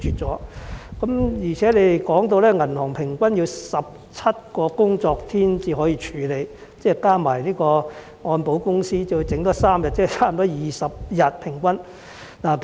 此外，局方提到銀行平均需要17個工作天處理申請，再加上按證保險公司需要3天處理，即平均需時20天。